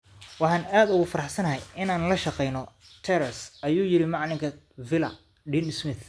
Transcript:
"Waxaan aad ugu faraxsanahay inaan la shaqeyno Trez," ayuu yiri Macallinka Villa, Dean Smith.